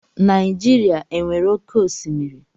Naịjirịa e nwere oké osimiri?